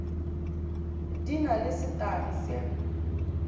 di na le setagi se